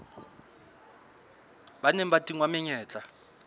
ba neng ba tingwa menyetla